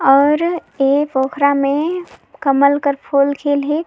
और ए पोखरा में कमल के फूल खिल हे।